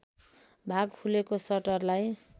भाग खुलेको सटरलाई